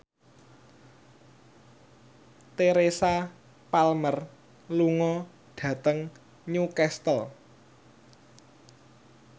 Teresa Palmer lunga dhateng Newcastle